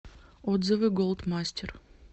отзывы голд мастер